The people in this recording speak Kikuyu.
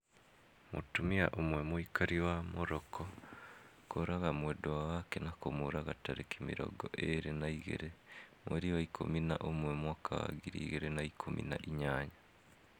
Mutumia ũmwe mũikari wa Morocco kũraga mwendwa wake na kũmũruga tarĩki mĩrongo ĩrĩ na igĩrĩ mweri wa ikũmi na ũmwe mwaka wa ngiri igĩrĩ na ikũmi na inyanya